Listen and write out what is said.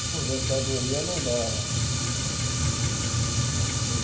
Aposentadoria não dava Uhum para manter.